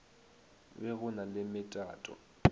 be go na le metato